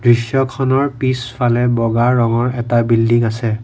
দৃশ্যখনৰ পিছফালে এটা বগা ৰঙৰ এটা বিল্ডিং আছে।